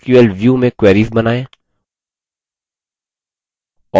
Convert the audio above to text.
कैसे sql view में queries बनाएँ